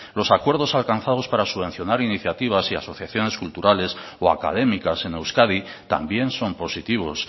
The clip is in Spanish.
los acuerdos alcanzados para subvencionar iniciativas y asociaciones culturales o académicas en euskadi también son positivos